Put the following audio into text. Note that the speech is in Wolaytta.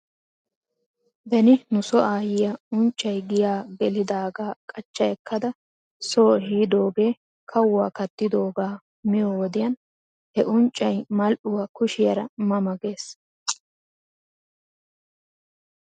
Beni nuso aayyiyaa unccay giyaa gelidaagaa qachcha ekkada soo ehidoogaa kawuwaa kattidoogaa miyoo wodiyan he unccay mal'uwaa kushiyaara ma ma gees.